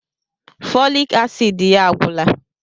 Fọlik asiidi ya a gwụla.